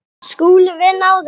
SKÚLI: Við náðum þessu.